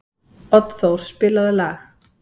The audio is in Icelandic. Oddþór, spilaðu lag.